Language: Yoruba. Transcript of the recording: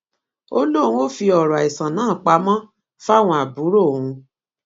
ó lóun ò fi ọrọ àìsàn náà pamọ fáwọn àbúrò òun